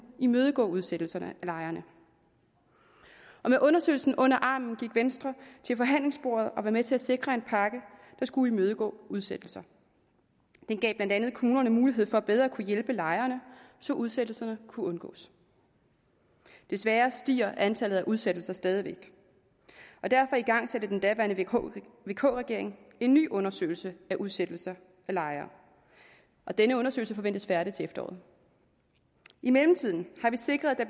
imødegå udsættelsen af lejerne med undersøgelsen under armen gik venstre til forhandlingsbordet og var med til at sikre en pakke der skulle imødegå udsættelser den gav blandt andet kommunerne mulighed for bedre at kunne hjælpe lejerne så udsættelserne kunne undgås desværre stiger antallet af udsættelser stadig væk og derfor igangsatte den daværende vk vk regering en ny undersøgelse af udsættelser af lejere denne undersøgelse forventes færdig til efteråret i mellemtiden har vi sikret at